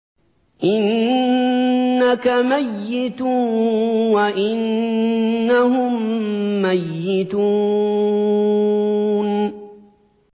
إِنَّكَ مَيِّتٌ وَإِنَّهُم مَّيِّتُونَ